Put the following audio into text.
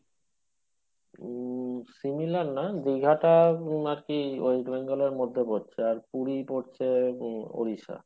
উম similar না দীঘাটা আরকি West Bengal এর মধ্যে পড়ছে আর পুরী পড়ছে উড়িষ্যা